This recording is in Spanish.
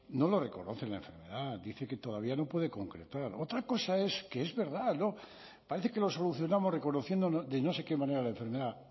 no lo reconocen la enfermedad dice que todavía no puede concretar otra cosa es que es verdad no parece que lo solucionamos reconociendo de no sé qué manera la enfermedad